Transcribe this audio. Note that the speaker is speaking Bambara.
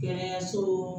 Kɛnɛyaso